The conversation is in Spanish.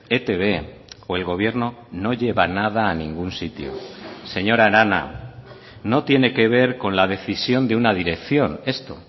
etb o el gobierno no lleva nada a ningún sitio señora arana no tiene que ver con la decisión de una dirección esto